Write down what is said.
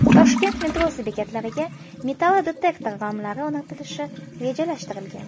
Toshkent metrosi bekatlariga metallodetektor romlari o‘rnatilishi rejalashtirilgan.